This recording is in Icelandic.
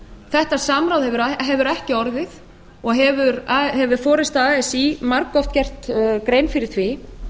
þetta samráð hefur ekki orðið og hefur forusta así margoft gert grein fyrir því